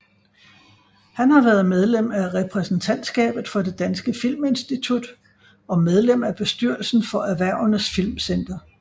Han har været medlem af repræsentantskabet for Det Danske Filminstitut og medlem af bestyrelsen for Erhvervenes Filmcenter